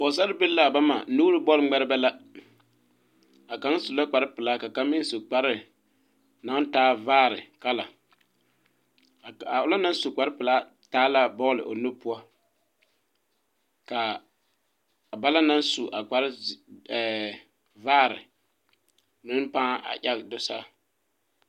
Pɔgesarebilii la a bama nuuri bɔl ŋmeɛrebɛ la a kaŋa su la kpare pelaa ka kaŋa meŋ su kpare naŋ taa vaare a ona naŋ su kpare pelaa taa la a bɔl o nu poɔ ka bana naŋ su a kpare ɛɛ vaare mi pãã egɛ do saa.